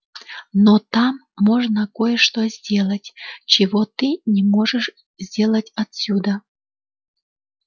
но там можно кое-что сделать чего ты не можешь сделать отсюда